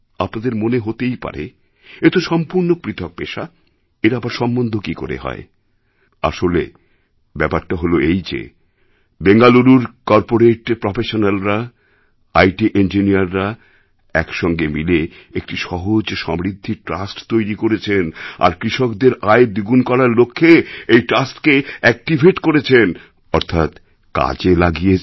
আপনাদের মনে হতেই পারে এতো সম্পূর্ণ পৃথক পেশা এর আবার সম্বন্ধ কি করে হয় আসলে ব্যাপারটা হল এই যে বেঙ্গালুরুর করপোরেট প্রফেশনালরা আইটি ইঞ্জিনিয়াররা একসঙ্গে মিলে একটি সহজ সমৃদ্ধি ট্রাস্ট তৈরি করেছেন আর কৃষকদের আয় দ্বিগুণ করার লক্ষ্যে এই ট্রাস্টকে অ্যাকটিভেট করেছেন অর্থাৎ কাজে লাগিয়েছেন